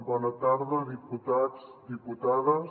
bona tarda diputats diputades